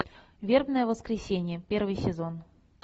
вербное воскресенье первый сезон